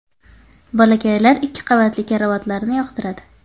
Bolakaylar ikki qavatli karavotlarni yoqtiradi.